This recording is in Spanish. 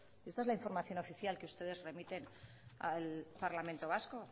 esto es la información oficial que ustedes remiten al parlamento vasco